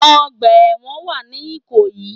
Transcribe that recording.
Ọgbà èwọ̀n wà ní ìkòyí